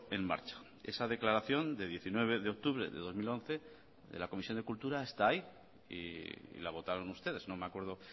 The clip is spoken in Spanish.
en marcha esa declaración de diecinueve de octubre de dos mil once de la comisión de cultura está ahí y la votaron ustedes no me acuerdo